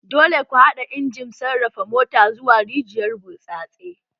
Dole ku haɗa injimin sarrafa mota zuwa rijiyar burtsatse!